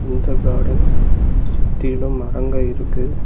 இந்த கார்டன் சுத்திலு மரங்க இருக்கு.